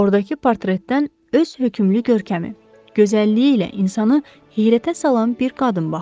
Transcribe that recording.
Ordakı portretdən öz hökmlü görkəmi, gözəlliyi ilə insanı heyrətə salan bir qadın baxırdı.